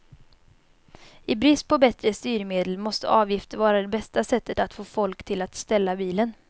I brist på bättre styrmedel måste avgifter vara det bästa sättet att få folk till att ställa bilen.